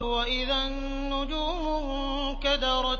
وَإِذَا النُّجُومُ انكَدَرَتْ